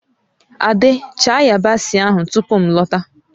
Ade, chaa yabasị ahụ tupu m lọta!